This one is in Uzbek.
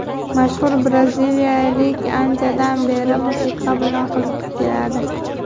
Mashhur braziliyalik anchadan beri musiqa bilan qiziqib keladi.